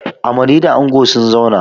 Amaryua da ango sun zauna.